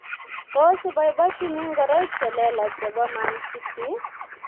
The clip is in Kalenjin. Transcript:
Tos iboibojini ngoroik che lelach chebo Man City ?